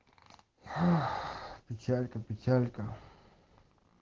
ох печалька печалька